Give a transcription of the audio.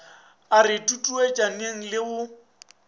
a re tutuetšaneng le go